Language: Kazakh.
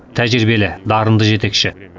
тәжірибелі дарынды жетекші